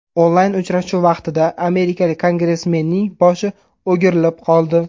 Onlayn uchrashuv vaqtida amerikalik kongressmenning boshi o‘girilib qoldi.